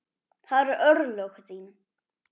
Það eru örlög þín.